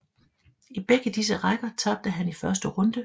I begge disse rækker tabte han i første runde